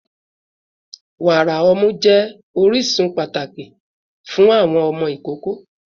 Wara ọmọ jẹ orisun pataki ti fun awọn ọmọ ikoko